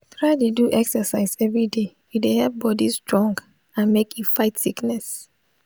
try dey do exercise everyday e dey help body strong and make e fight sickness